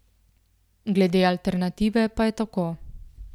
Glede alternative pa je tako.